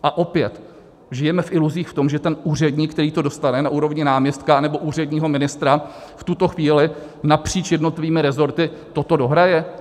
A opět: Žijeme v iluzích v tom, že ten úředník, který to dostane na úrovni náměstka nebo úředního ministra, v tuto chvíli napříč jednotlivými resorty toto dohraje?